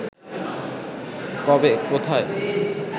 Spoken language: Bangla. কবে, কোথায়